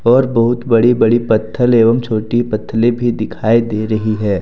और बहुत बड़ी बड़ी पत्थल एवं छोटी पत्थले भी दिखाई दे रही है।